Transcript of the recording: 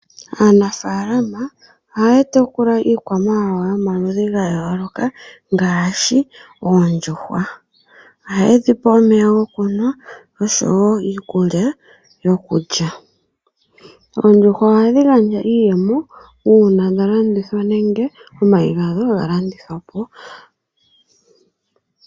Aanafaalama ohaya tekula iikwamawawa yomaludhi gayooloka ngaashi oondjuhwa, ohaye dhi pe omeya go kunwa nosho woo iikulya yokulya. Oondjuhwa ohadhi gandja iiyemo uuna dha landithwa nenge omayi gawo ga landithwa po.